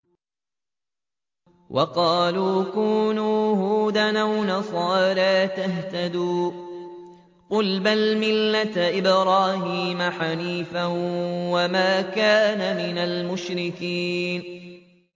وَقَالُوا كُونُوا هُودًا أَوْ نَصَارَىٰ تَهْتَدُوا ۗ قُلْ بَلْ مِلَّةَ إِبْرَاهِيمَ حَنِيفًا ۖ وَمَا كَانَ مِنَ الْمُشْرِكِينَ